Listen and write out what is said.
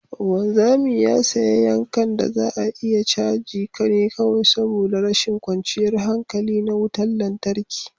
wanzami ya sayi yankan da za a iya caji ne kawai saboda rashin kwanciyar hankali na wutar lantarki